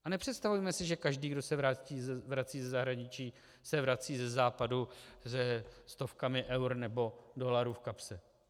A nepředstavujme si, že každý, kdo se vrací ze zahraničí, se vrací ze Západu se stovkami eur nebo dolarů v kapse.